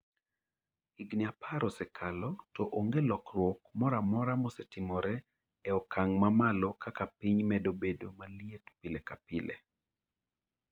Higini apar osekalo, to onge lokruok moro amora mosetimore e okang ' mamalo kaka piny medo bedo maliet pile ka pile.